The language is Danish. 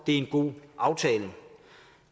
er en god aftale